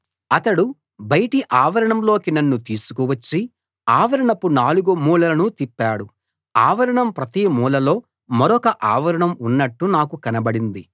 అతడు బయటి ఆవరణంలోకి నన్ను తీసుకువచ్చి ఆవరణపు నాలుగు మూలలను తిప్పాడు ఆవరణం ప్రతి మూలలో మరొక ఆవరణం ఉన్నట్టు నాకు కనబడింది